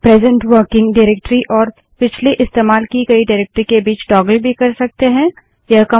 present working directory और पिछली इस्तेमाल की गयी डाइरेक्टरी के बीच टागल भी कर सकते हैं यह कमांड देकर